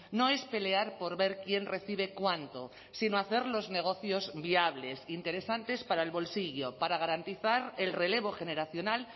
no es pelear por ver quién recibe cuánto sino hacer los negocios viables interesantes para el bolsillo para garantizar el relevo generacional